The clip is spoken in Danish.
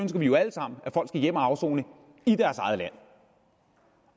vi jo alle sammen at folk skal hjem at afsone i deres eget land